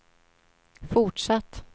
fortsatt